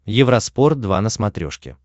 евроспорт два на смотрешке